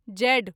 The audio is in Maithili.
जेड